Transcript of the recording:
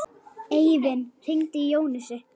Eivin, hringdu í Jónösu.